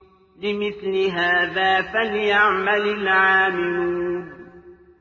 لِمِثْلِ هَٰذَا فَلْيَعْمَلِ الْعَامِلُونَ